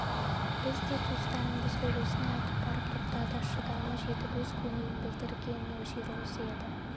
біз де туыстарыңбыз ғой осыны айтып барып тоқтады шыдамы жетіп өз көңілін білдірген жері осы еді